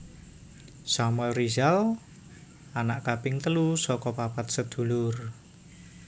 Samuel Rizal anak kaping telu saka papat sedulur